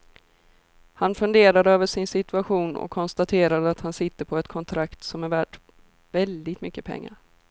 Han funderar över sin situation och konstaterar att han sitter på ett kontrakt som är värt väldigt mycket pengar.